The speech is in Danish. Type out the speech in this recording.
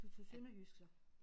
Du tog sønderjysk så?